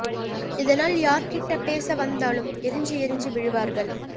இதனால் யார் கிட்ட பேச வந்தாலும் எரிஞ்சு எரிஞ்சு விழுவார்கள்